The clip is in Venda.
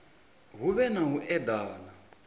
hu vhe na u edana